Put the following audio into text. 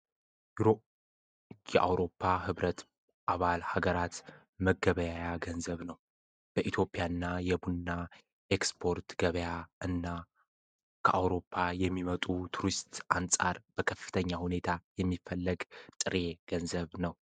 የአውሮፓ ህብረት አባል ሀገራት መገበያ ገንዘብ ነው፡፡ በኢትዮጵያ እና የቡና ኤክስፖርት ገበያ እና ከአውሮፓ የሚመጡ ቱሪስት አንፃር በከፍተኛ ሁኔታ የሚፈለግ ጥሬ ገንዘብ ነው፡፡